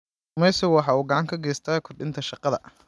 Kalluumaysigu waxa uu gacan ka geystaa kordhinta shaqada.